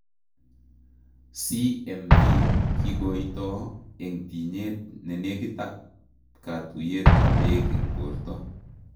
CMV kikoitoo eng' tinyeet nenekiit ak katiuyet ab beek eng' borto